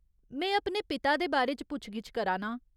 में अपने पिता दे बारे च पुच्छ गिच्छ करा नां।